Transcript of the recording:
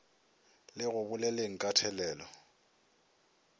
le go boleleng ka thelelo